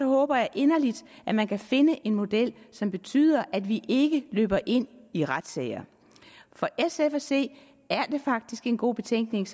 håber jeg inderligt at man kan finde en model som betyder at vi ikke løber ind i retssager for sf at se er det faktisk en god betænkning